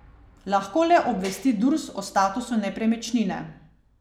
Lahko le obvesti Durs o statusu nepremičnine.